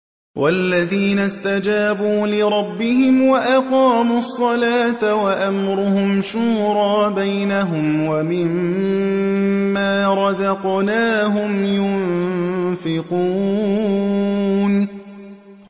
وَالَّذِينَ اسْتَجَابُوا لِرَبِّهِمْ وَأَقَامُوا الصَّلَاةَ وَأَمْرُهُمْ شُورَىٰ بَيْنَهُمْ وَمِمَّا رَزَقْنَاهُمْ يُنفِقُونَ